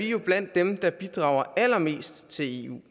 jo blandt dem der bidrager allermest til eu